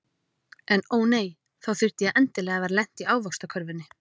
En ó nei, þá þurfti ég endilega að vera lent í ávaxtakörfunni.